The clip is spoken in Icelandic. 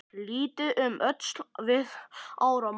Litið um öxl við áramót.